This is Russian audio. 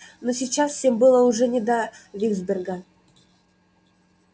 но сейчас всем было уже не до виксберга